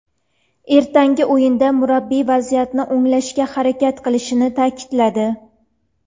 Ertangi o‘yinda murabbiy vaziyatni o‘nglashga harakat qilishini ta’kidladi.